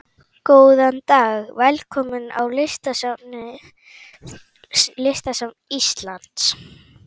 Góðan dag. Velkomin á Listasafn Íslands.